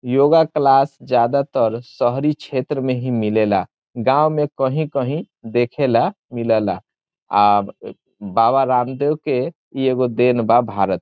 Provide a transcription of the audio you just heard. योग क्लास ज्यादा तर शहरी क्षेत्र में ही मिलेला गांव में कहीं-कहीं देखे ला मिलेला | अ बाबा रामदेव के ई एगो देन बा भारत --